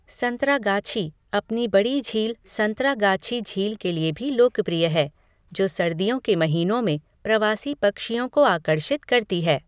संतरागाछी अपनी बड़ी झील संतरागाछी झील के लिए भी लोकप्रिय है, जो सर्दियों के महीनों में प्रवासी पक्षियों को आकर्षित करती है।